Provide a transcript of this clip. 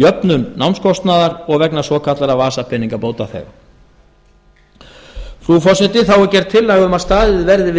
jöfnunar námskostnaðar og vegna svokallaðra vasapeninga bótaþega frú forseti þá er gerð tillaga um að staðið verði við